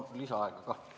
Ma palun lisaaega ka.